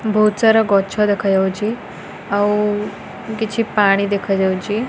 ବୋହୁତ୍ ସାରା ଗଛ ଦେଖାଯାଉଛି ଆଉ କିଛି ପାଣି ଦେଖାଯାଉଚି।